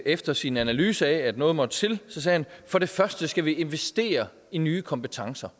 efter sin analyse af at noget måtte til sagde for det første skal vi investere i nye kompetencer